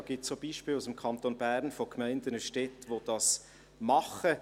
Da gibt es auch Beispiele aus dem Kanton Bern von Gemeinden und Städten, die das machen.